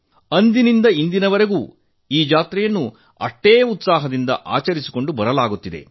ಅಂದಿನಿಂದ ಇಂದಿನವರೆಗೂ ಈ ಜಾತ್ರೆಯನ್ನು ಅಷ್ಟೇ ಉತ್ಸಾಹದಿಂದ ಆಚರಿಸಿಕೊಂಡು ಬರಲಾಗುತ್ತಿದೆ